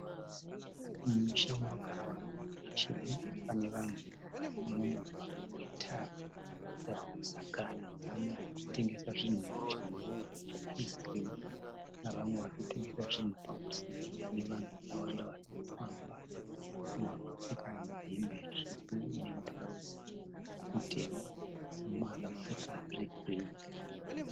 Mumusha munogara vanhu mumarukesheni panevanhu vari mumugwagwa wetara yavakusakara. Pane arikutengesa zvinhu muchingoro che Ice-Cream nevamwe varikutengesa zvinhu pamusika nevanhu vakawanda varikufamba mumwe akapfeka hembe tsvuku nemutirauzi mutema neumwe akapfeka hembe yegireyi.